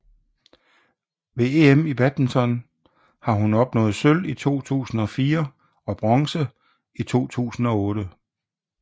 Ved EM i badminton har hun opnået sølv i 2004 og bronze i 2008